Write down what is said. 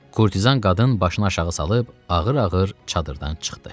Kurtizan qadın başını aşağı salıb ağır-ağır çadırdan çıxdı.